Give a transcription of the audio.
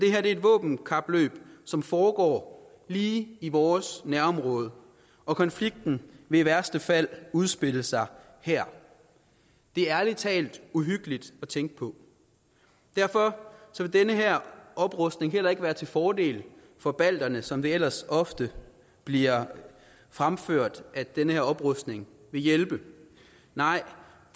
er et våbenkapløb som foregår lige i vores nærområde og konflikten vil i værste fald udspille sig her det er ærlig talt uhyggeligt at tænke på derfor vil den her oprustning heller ikke være til fordel for balterne som det ellers ofte bliver fremført at den her oprustning vil hjælpe nej